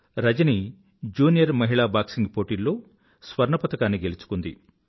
Rajani junior మహిళా boxing పోటీల్లో స్వర్ణ పరకాన్ని గెలుచుకుంది